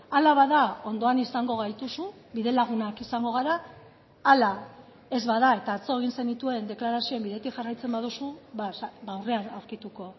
hala bada ondoan izango gaituzu bide lagunak izango gara ala ez bada eta atzo egin zenituen deklarazioen bidetik jarraitzen baduzu aurrean aurkituko